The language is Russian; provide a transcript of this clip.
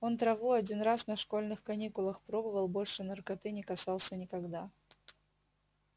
он траву один раз на школьных каникулах пробовал больше наркоты не касался никогда